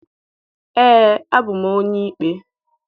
Ee, abụ m onye ikpe